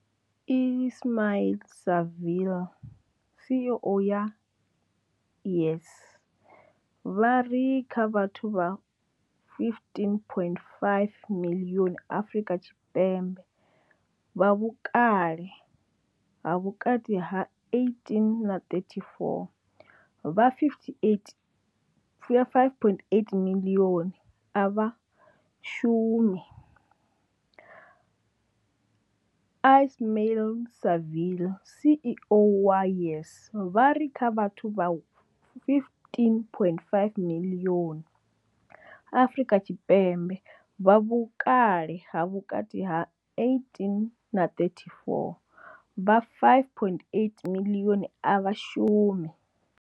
Ismail-Saville CEO wa YES, vha ri kha vhathu vha 15.5 miḽioni Afrika Tshipembe vha vhukale ha vhukati ha 18 na 34, vha 58 5.8 miḽioni a vha shumi. Ismail-Saville CEO wa YES, vha ri kha vhathu vha 15.5 miḽioni Afrika Tshipembe vha vhukale ha vhukati ha 18 na 34, vha 5.8 miḽioni a vha shumi.